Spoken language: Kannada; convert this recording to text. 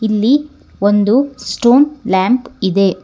ಇಲ್ಲಿ ಒಂದು ಸ್ಟೋನ್ ಲ್ಯಾಂಪ್ ಇದೆ.